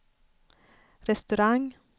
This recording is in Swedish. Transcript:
restaurang